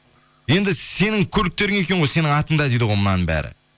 енді сенің көліктерің екен ғой сенің атыңда дейді ғой мынаның бәрі